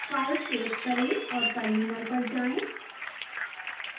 file save करें और terminal पर जाएं